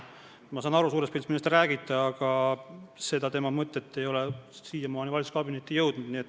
Ma saan suures pildis aru, millest te räägite, aga see tema mõte ei ole siiamaani valitsuskabinetti jõudnud.